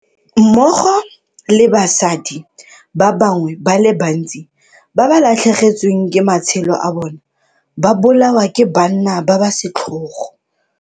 Mmogo le basadi ba bangwe ba le bantsi ba ba latlhegetsweng ke matshelo a bona ba bolawa ke banna ba ba setlhogo.